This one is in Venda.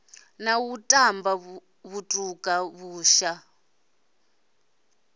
na u tamba vhutuka vhusha